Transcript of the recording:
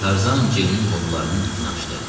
Tarzan Ceynin qollarının ipini açdı.